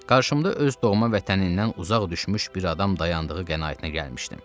Qarşımda öz doğma vətənindən uzaq düşmüş bir adam dayandığı qənaətinə gəlmişdim.